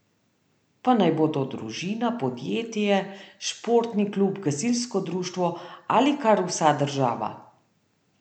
Pa naj bo to družina, podjetje, športni klub, gasilsko društvo ali kar vsa država.